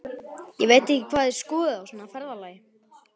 Ég veit ekki hvað þið skoðið á svona ferðalagi.